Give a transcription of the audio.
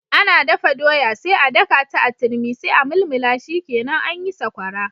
Ana dafa doya sai a dakata a turmi sai a mulmula shikenan anyi Sakwara.